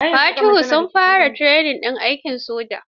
Fatuhu sun fara training ɗin aikin soja.